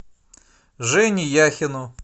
жене яхину